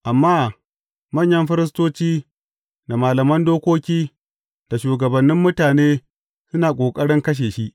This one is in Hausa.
Amma manyan firistoci, da malaman dokoki, da shugabannin mutane, suna ƙoƙarin kashe shi.